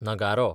नगारो